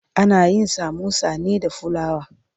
Ana yin samosa ne da fulawa.